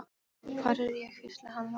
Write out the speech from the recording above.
Hvar er ég? hvíslaði hann rámur.